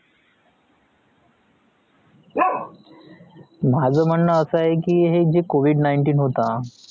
माझ म्हणणं असा आहे की जे covid nineteen होता